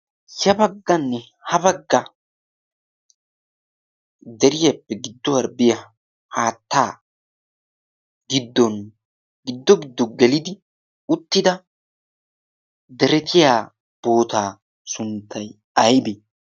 ya bagganne ha bagga deriyaappe gidduwan diyaa haattaa giddon giddon giddo gelidi uttida deretiya boottaa sunttay aybbe?